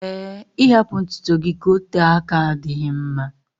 ee, ịhapụ ntutu gị ka ote aka adịghị mma